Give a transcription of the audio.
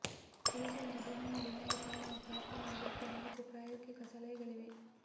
ಯೇಸುವಿನ ಜೀವನದಲ್ಲಿ ನಾವು ಕಾಣುವ ಪ್ರಾರ್ಥನೆಯ ಬಗ್ಗೆ ನಾಲ್ಕು ಪ್ರಾಯೋಗಿಕ ಸಲಹೆಗಳಿವೆ